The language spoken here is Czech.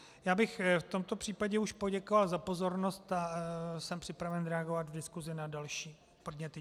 Já bych v tomto případě už poděkoval za pozornost a jsem připraven reagovat v diskusi na další podněty.